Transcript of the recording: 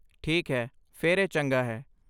ਠੀਕ ਹੈ, ਫਿਰ ਇਹ ਚੰਗਾ ਹੈ।